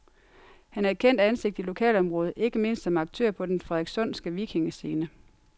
Han er et kendt ansigt i lokalområdet, ikke mindst som aktør på den frederikssundske vikingescene.